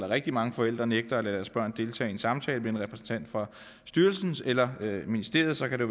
rigtig mange forældre nægter at lade deres børn deltage i en samtale med en repræsentant fra styrelsen eller ministeriet så kan det